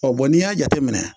Ɔ n'i y'a jateminɛ